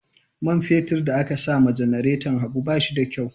Man fetur da aka sama janareton Habu ba shi da kyau.